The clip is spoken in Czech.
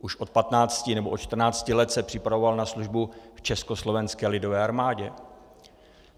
Už od 15 nebo od 14 let se připravoval na službu v Československé lidové armádě.